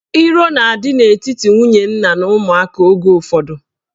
Iro na-adị n'etiti nwunye nna na ụmụaka oge ụfọdụ.